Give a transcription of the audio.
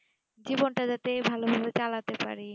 জীবন টা যাতে ভালো ভাবে চালাতে পারি